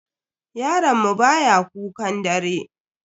Yaron mu baya kukan dare.